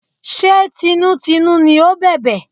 Ṣé tinútinú ni ó bẹ̀bẹ̀?